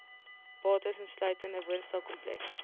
bates insluitende woonstelkomplekse